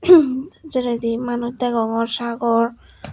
ummh jeredi manuj degongor sagor.